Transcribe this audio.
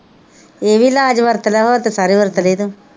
ਇਹ ਵੀ ਇਲਾਜ ਵਰਤ ਲਾ ਹੋਰ ਜੇ ਸਾਰੇ ਵਰਤ ਲਏ ਤਾਂ